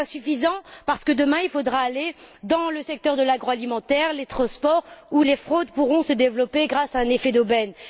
C'est insuffisant, parce que demain il faudra aller dans le secteur de l'agro alimentaire et les transports, où les fraudes pourront se développer grâce à un effet d'aubaine.